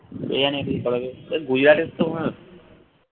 কি জানি কী করে যে তা গুজরাটের তো মারা